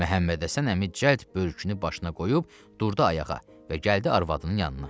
Məhəmmədhəsən əmi cəld börkünü başına qoyub, durdu ayağa və gəldi arvadının yanına.